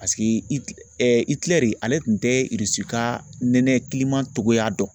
Paseke Iki ɛ Ikilɛri ale tun tɛ ka nɛnɛ togoya dɔn.